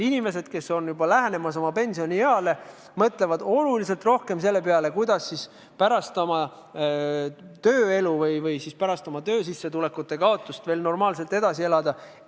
Kui ollakse juba lähenemas pensionieale, siis inimesed mõtlevad oluliselt rohkem selle peale, kuidas pärast tööelu, pärast oma töösissetulekute kaotust normaalselt edasi elada.